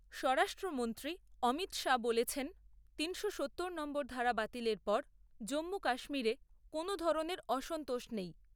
স্বরাষ্ট্রমন্ত্রী অমিত শাহ বলেছেন তিনশো সত্তর নম্বর ধারা বাতিলের পর জম্মু কাশ্মীরে কোনও ধরনের অসন্তোষ নেই।